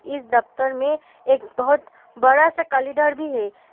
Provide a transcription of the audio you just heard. इस दफ्तर में एक बहुत बड़ा सा कैलेंडर भी है।